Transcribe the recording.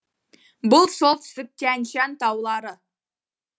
бұл солтүстік тянь шань таулары